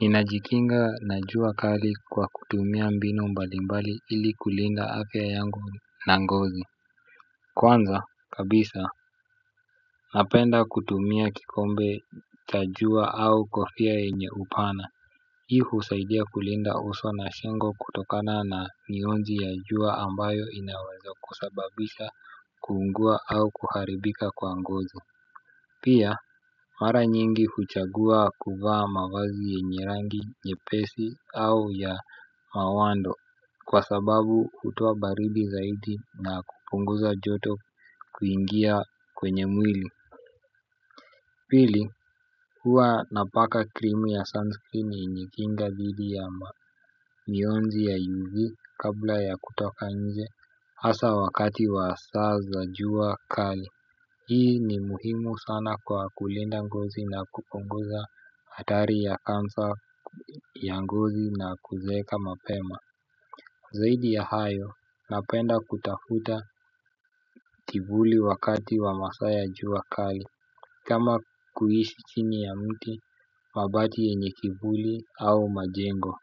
Ninajikinga na jua kali kwa kutumia mbinu mbali mbali ili kulinda afya yangu na ngozi. Kwanza kabisa napenda kutumia kikombe cha jua au kofia yenye upana. Hii husaidia kulinda uso na shingo kutokana na mionzi ya jua ambayo inawenza kusababisha kuungua au kuharibika kwa ngozi. Pia mara nyingi huchagua kuva mawazi yenye rangi nyepesi au ya mawando kwa sababu hutoa baridi zaidi na kupunguza joto kuingia kwenye mwili. Pili huwa napaka krimu ya sunscreen yenye kinga dhidi ya mionzi ya UV kabla ya kutoka nje hasa wakati wa saa za jua kali. Hii ni muhimu sana kwa kulinda ngozi na kupungoza hatari ya cancer ya ngozi na kuzeeka mapema. Zaidi ya hayo napenda kutafuta kivuli wakati wa masaa ya jua kali; Kama kuishi chini ya mti mabati yenye kivuli au majengo.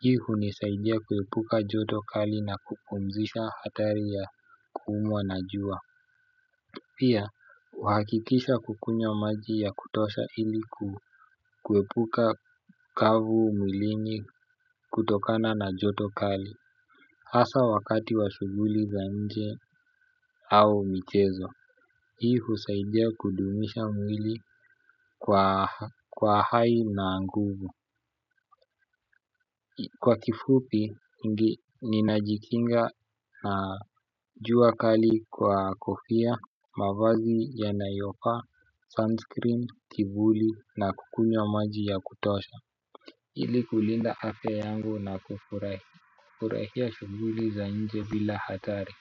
Hii hunisaidia kuepuka joto kali na kupumzisha hatari ya kuumwa na jua. Pia, uhakikisha kukunywa maji ya kutosha ili kkuepuka ukavu mwilini kutokana na joto kali. Hasa wakati wa shuguli za nje au mchezo, hii husaidia kudumisha mwili kwa hai na nguvu. Kwa kifupi, ninajikinga na jua kali kwa kofia, mavazi yanayofaa, sunscreen, kivuli na kukunywa maji ya kutosha. Ili kulinda afya yangu na kufurahia shuguli za nje bila hatari.